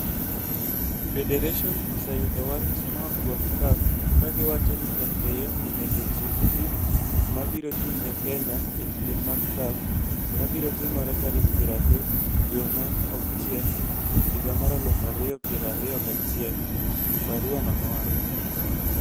"Federation oseyudo wach moa kuom CAF ka giwacho ni FKF onego ochiw tim mabiro chung'ne Kenya e piem mag CAF ma biro timore tarik piero adek dwe mar auchiel higa mar alufu ario piero ario gachiel," barua no nowacho.